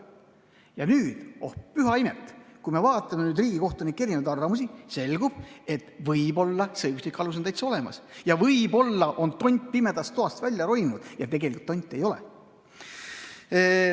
Ja nüüd, oh püha imet, kui me vaatame riigikohtunike arvamusi, selgub, et võib-olla on see õiguslik alus täiesti olemas ja võib-olla on tont pimedast toast välja roninud ja tonti tegelikult ei olegi.